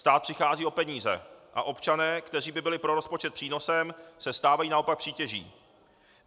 Stát přichází o peníze a občané, kteří by byli pro rozpočet přínosem, se stávají naopak přítěží.